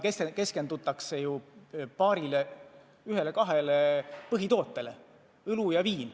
Keskendutakse paarile, ühele-kahele põhitootele: õlu ja viin.